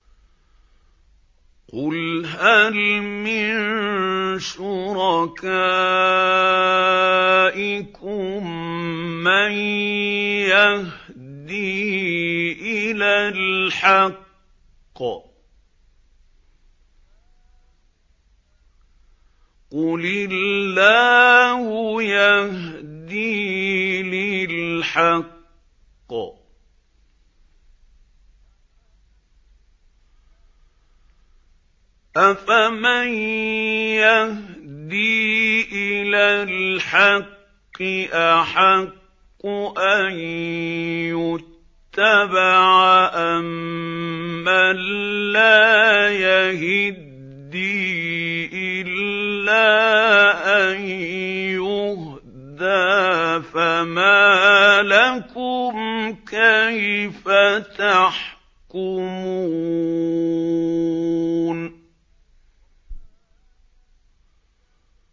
قُلْ هَلْ مِن شُرَكَائِكُم مَّن يَهْدِي إِلَى الْحَقِّ ۚ قُلِ اللَّهُ يَهْدِي لِلْحَقِّ ۗ أَفَمَن يَهْدِي إِلَى الْحَقِّ أَحَقُّ أَن يُتَّبَعَ أَمَّن لَّا يَهِدِّي إِلَّا أَن يُهْدَىٰ ۖ فَمَا لَكُمْ كَيْفَ تَحْكُمُونَ